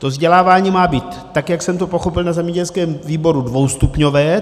To vzdělávání má být, tak jak jsem to pochopil na zemědělském výboru, dvoustupňové.